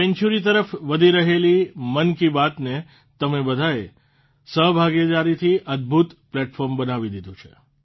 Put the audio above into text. century તરફ વધી રહેલી મન કી બાતને તમે બધાએ સહભાગીદારીથી અદભૂત પ્લેટફોર્મ બનાવી દીધું છે